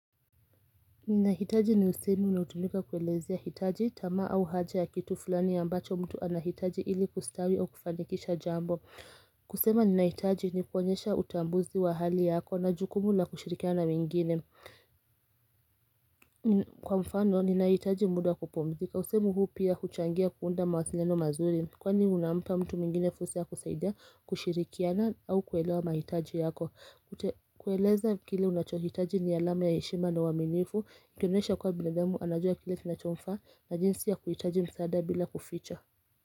Ninahitaji ni usemi unautumika kuelezea hitaji tama au haja ya kitu fulani ambacho mtu anahitaji ili kustawi o kufanikisha jambo kusema ninahitaji ni kuonyesha utambuzi wa hali yako na jukumu la kushirikiana mingine Kwa mfano ninahitaji muda kupomzika, usemi huu pia kuchangia kuunda mawathileno mazuri Kwani unampa mtu mingine fusa ya kusaidia kushirikiana au kuelewa mahitaji yako kueleza kile unachohitaji ni alame ya yeshima na waminifu Ikoneisha kwa binadhemu anajua kile tinachomfa na jinsi ya kuhitaji msaada bila kuficha.